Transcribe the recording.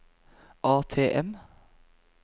ATM